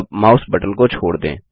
अब mouse button को छोड़ दें